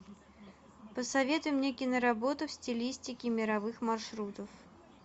посоветуй мне киноработу в стилистике мировых маршрутов